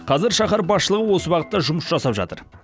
қазір шахар басшылығы осы бағытта жұмыс жасап жатыр